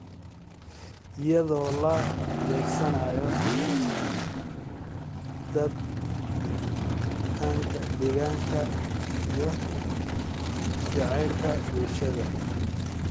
iyadoo la beegsanayo dhadhanka iyo jacaylka bulshada.